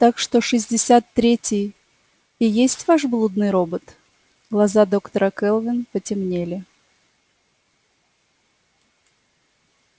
так что шестьдесят третий и есть ваш блудный робот глаза доктора кэлвин потемнели